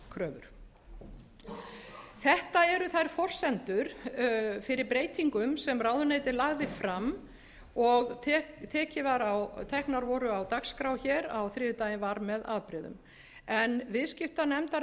forgangskröfur þetta eru þær forsendur fyrir breytingum sem ráðuneytið lagði fram og teknar voru á dagskrá hér á þriðjudaginn var með afbrigðum